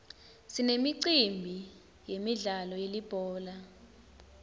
sinemicimbi yemidlalo yelibhola